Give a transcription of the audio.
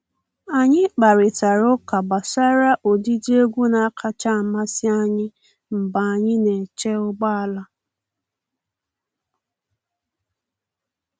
Anyị kparịtara ụka gbasara ụdịdị egwu na-akacha amasị anyị mgbe anyị na-eche ụgbọ ala.